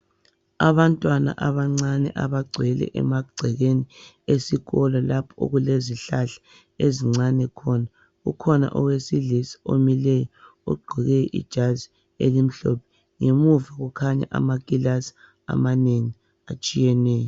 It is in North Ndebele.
Abantwana abancane abagcwele emagcekeni esikolo lapho okulezihlahla ezincane khona kukhona owesilisa omileyo ogqoke ijazi elimhlophe ngemuva kukhanya amakilasi amanengi atshiyeneyo.